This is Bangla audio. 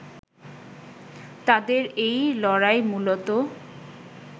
তাদের এই লড়াই মূলত